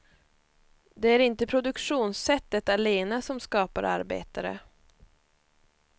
Det är inte produktionssättet allena som skapar arbetare.